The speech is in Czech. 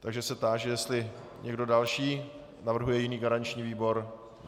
Takže se táži, jestli někdo další navrhuje jiný garanční výbor.